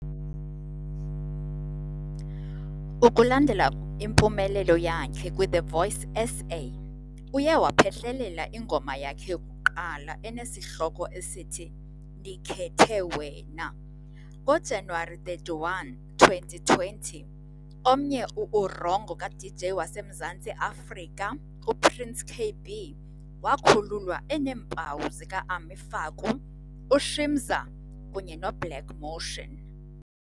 Ukulandela impumelelo yakhe kwiThe Voice SA, uye waphehlelela ingoma yakhe yokuqala enesihloko esithi "Ndikhethe Wena". NgoJanuwari 31, 2020, omnye u-"uWrongo" ka-DJ waseMzantsi Afrika u-Prince Kaybee wakhululwa eneempawu zika-Ami Faku, uShimza kunye no-Black Motion.